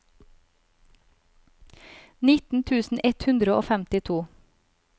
nitten tusen ett hundre og femtito